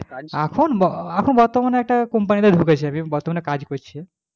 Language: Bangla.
এখন এখন বর্তমানে একটা company তে ঢুকেছি আমি বর্তমানে কাজ করছি,